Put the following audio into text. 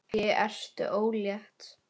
Ekki ertu ólétt?